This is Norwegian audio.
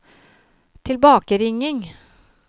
tilbakeringing